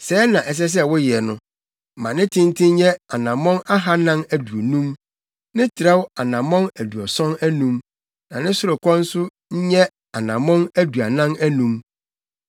Sɛɛ na ɛsɛ sɛ woyɛ no: ma ne tenten nyɛ anammɔn ahannan aduonum, ne trɛw anammɔn aduɔson anum, na ne sorokɔ nso nyɛ anammɔn aduanan anum.